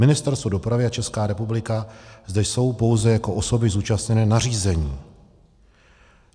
Ministerstvo dopravy a Česká republika zde jsou pouze jako osoby zúčastněné na řízení.